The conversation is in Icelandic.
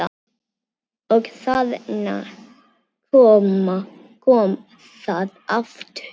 Og þarna kom það aftur!